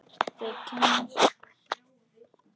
Þau kyssast nokkra stund.